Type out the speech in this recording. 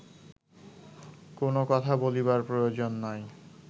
কোন কথা বলিবার প্রয়োজন নাই